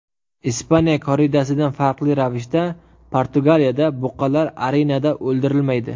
Ispaniya korridasidan farqli ravishda, Portugaliyada buqalar arenada o‘ldirilmaydi.